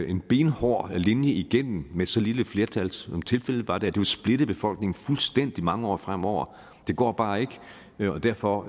en benhård linje igennem med så lille et flertal som tilfældet var der det ville splitte befolkningen fuldstændig mange år fremover det går bare ikke og derfor